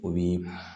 O bi